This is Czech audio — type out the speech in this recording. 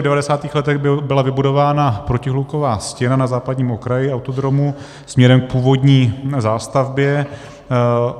V 90. letech byla vybudována protihluková stěna na západním okraji autodromu směrem k původní zástavbě.